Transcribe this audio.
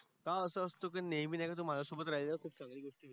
का असं असतं नेहमी नाही का तू माझ्यासोबत राहिल्या वर तू कमी बोलतेस